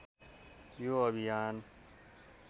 यो अभियान